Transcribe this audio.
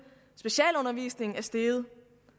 at specialundervisningen i steget